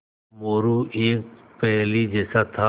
मोरू एक पहेली जैसा था